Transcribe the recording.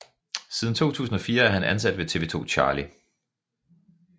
Siden 2004 er han ansat ved TV 2 Charlie